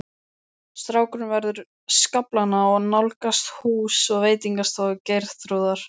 Strákurinn veður skaflana og nálgast hús og veitingastofu Geirþrúðar.